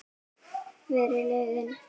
Verri leiðin.